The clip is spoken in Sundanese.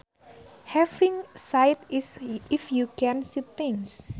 Having sight is if you can see things